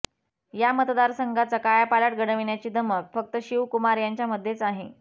या मतदारसंघाचा कायापालट घडविण्याची धमक फक्त शिवकुमार यांच्यामध्येच आहे